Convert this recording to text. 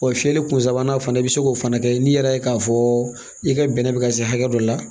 Wa fiyɛli kun sabanan fana i bɛ se k'o fana kɛ n'i yɛrɛ ye k'a fɔ i ka bɛnɛ bɛ ka se hakɛ dɔ la